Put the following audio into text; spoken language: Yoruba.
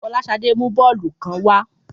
Fọláṣadé mú bọ́ọ̀lù kan wa.